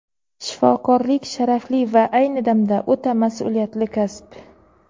Shifokorlik — sharafli va ayni damda o‘ta masʼuliyatli kasb.